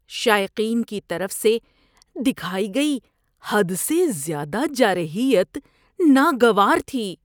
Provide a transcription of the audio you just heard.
شائقین کی طرف سے دکھائی گئی حد سے زیادہ جارحیت ناگوار تھی۔